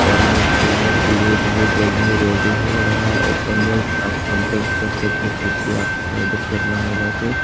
और ये खुलने के लिए बहुत जल्दी रेडी हो रहा है ऊपर में आप कांटेक्ट कर सकते कुछ भी आपको ऑर्डर करना होगा तो।